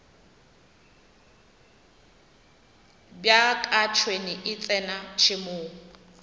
bjaka tšhwene e tsena tšhemong